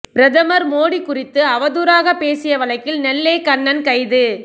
பிரதமர் மோடி குறித்து அவதூறாக பேசிய வழக்கில் நெல்லை கண்ணன் கைது